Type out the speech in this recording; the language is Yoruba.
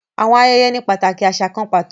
Àwọn ayẹyẹ ni pataki aṣa kàn pàtó